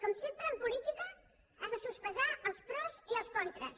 com sempre en política has de sospesar els pros i els contres